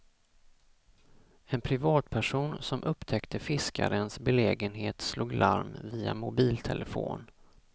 En privatperson, som upptäckte fiskarens belägenhet slog larm via mobiltelefon.